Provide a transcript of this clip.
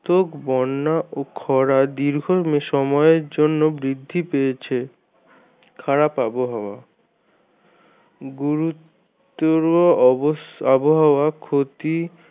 ত্মক খরা এবং বন্যা দীর্ঘ সময়ের জন্য বৃদ্ধি পেয়েছে। খারাপ আবহাওয়া গুরুত্বর আবহাওয়া ক্ষতি